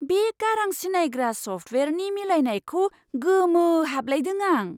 बे गारां सिनायग्रा सफ्टवेयारनि मिलायनायखौ गोमोहाबलायदों आं!